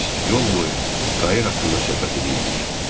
Biz yol boyu Kayir haqqında söhbət eləyirdik.